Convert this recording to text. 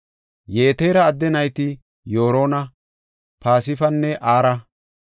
Yetera adde nayti Yorona, Pispanne Ara.